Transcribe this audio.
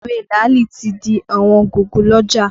Ewé làálì tí di ọ̀wọ́n gogo lọ́jà